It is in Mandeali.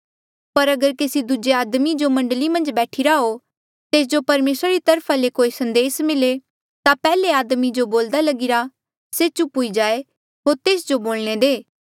पर अगर केसी दूजे आदमी जो मण्डली मन्झ बैठीरा हो तेस जो परमेसरा री तरफा ले कोई संदेस मिले ता पैहले आदमी जो बोलदा लगिरा से चुप हुई जाये होर तेस जो बोलणे दे